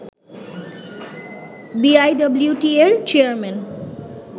বিআইডব্লিউটিএ-র chairman